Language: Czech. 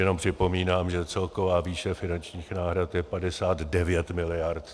Jenom připomínám, že celková výše finančních náhrad je 59 miliard.